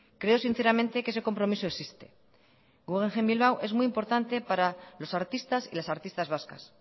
creo sinceramente que ese compromiso existe guggenheim bilbao es muy importante para los artistas y las artistas vascas